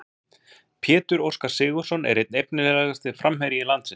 Pétur Óskar Sigurðsson er einn efnilegasti framherji landsins.